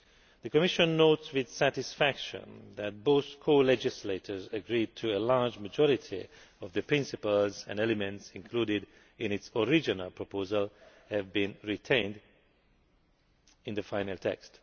The Commission notes with satisfaction that both co legislators have agreed to a large majority of the principles and elements included in its original proposal, which have been retained in the final text.